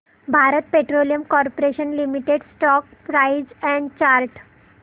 Bharat petroleum corporation limited stock price and chart